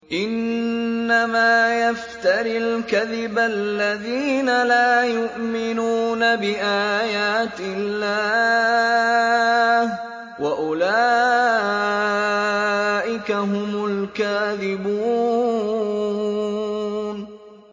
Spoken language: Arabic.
إِنَّمَا يَفْتَرِي الْكَذِبَ الَّذِينَ لَا يُؤْمِنُونَ بِآيَاتِ اللَّهِ ۖ وَأُولَٰئِكَ هُمُ الْكَاذِبُونَ